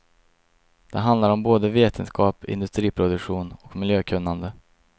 Det handlar om både vetenskap, industriproduktion och miljökunnande.